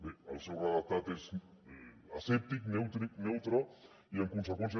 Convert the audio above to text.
bé el seu redactat és asèptic neutre i en conseqüència